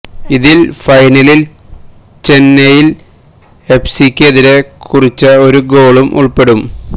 ഇതില് ഫൈനലില് ചെന്നൈയിന് എഫ്സിക്ക് എതിരെ കുറിച്ച ഒരു ഗോളും ഉള്പ്പെടും